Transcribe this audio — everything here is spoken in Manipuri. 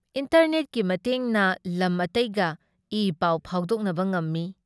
ꯏꯟꯇꯔꯅꯦꯠꯀꯤ ꯃꯇꯦꯡꯅ ꯂꯝ ꯑꯇꯩꯒ ꯏ ꯄꯥꯎ ꯐꯥꯎꯗꯣꯛꯅꯕ ꯉꯝꯃꯤ ꯫